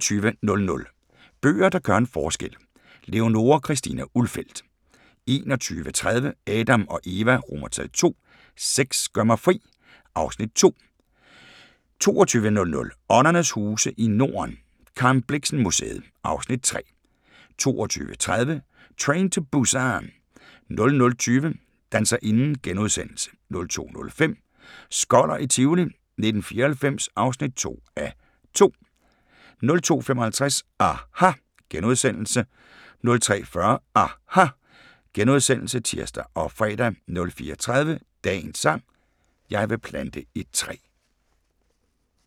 21:00: Bøger, der gør en forskel – Leonora Christina Ulfeldt 21:30: Adam & Eva II: Sex gør mig fri (Afs. 2) 22:00: Åndernes huse i Norden – Karen Blixen Museet (Afs. 3) 22:30: Train to Busan 00:20: Danserinden * 02:05: Skoller i Tivoli 1994 (2:2) 02:55: aHA! * 03:40: aHA! *(tir og fre) 04:30: Dagens sang: Jeg vil plante et træ *